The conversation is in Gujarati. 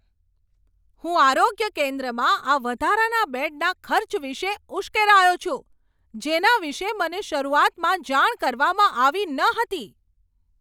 હું આરોગ્ય કેન્દ્રમાં આ વધારાના બેડના ખર્ચ વિશે ઉશ્કેરાયો છું, જેના વિશે મને શરૂઆતમાં જાણ કરવામાં આવી ન હતી.